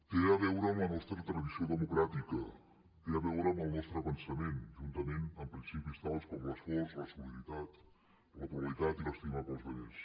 té a veure amb la nostra tradició democràtica té a veure amb el nostre pensament juntament amb principis tals com l’esforç la solidaritat la pluralitat i l’estima pels altres